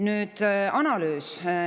Nüüd, analüüs.